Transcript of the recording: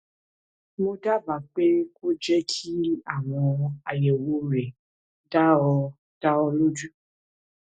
mo dábàá pé kó o jẹ kí àyẹwò rẹ dá ọ dá ọ lójú